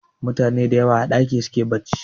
Mutane dayawa a ɗaki suke barci